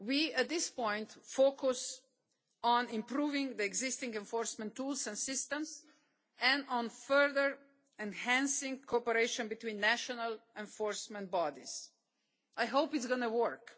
At this point we are focusing on improving the existing enforcement tools and systems and on further enhancing cooperation between national enforcement bodies. I hope it is going to work.